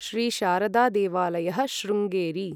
श्री शारदा देवालयः शृङ्गेरि